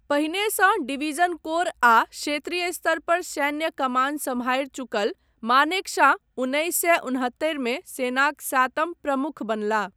पहिनेसँ division corps आ क्षेत्रीय स्तर पर सैन्य कमान सम्हारि चुकल मानेकशॉ उन्नैस सए उनहत्तरिमे सेनाक सातम प्रमुख बनलाह।